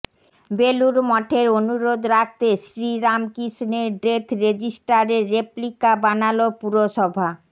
বেলুড় মঠের অনুরোধ রাখতে শ্রীরামকৃষ্ণের ডেথ রেজিস্টারের রেপ্লিকা বানাল পুরসভা